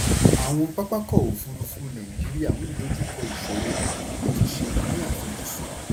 àwọn pápákọ̀ òfurufú nàìjíríà ń dojú kọ ìsòro; àtúnṣe ni àfojúsùn.